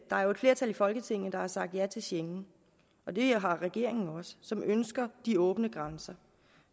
der er jo et flertal i folketinget der har sagt ja til schengen og det har regeringen også som ønsker de åbne grænser